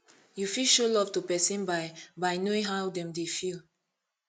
you fit show love to person by by knowing how dem dey feel